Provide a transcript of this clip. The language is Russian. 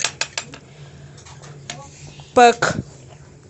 пэк